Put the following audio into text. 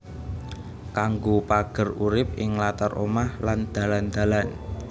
Kanggo pager urip ing latar omah lan dalan dalan